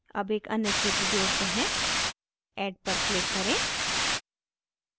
add एक अन्य क्षेत्र जोड़ते हैं add पर click करें